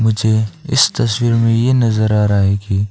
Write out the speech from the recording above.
मुझे इस तस्वीर में ये नजर आ रहा है कि--